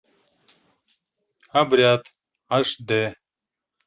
обряд аш д